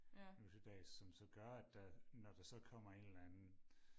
nu til dags som så gør at der når der så kommer en eller anden